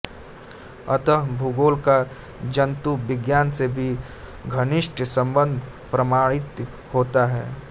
अतः भूगोल का जन्तु विज्ञान से भी घनिष्ट संबंध प्रमाणित होता है